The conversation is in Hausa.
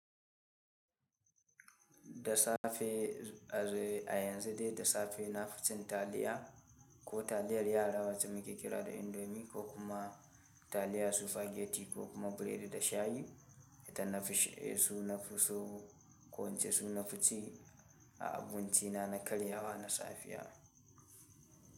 Da safe a yanzu dai da safe na fi cin taliya ko taliyar yara wacce muke kira da indomi ko kuma taliyar sufageti ko kuma biredi da shayi. Ita na fi su nafi so ko in ce su nafi ci a abinci na na karyawa na safiya.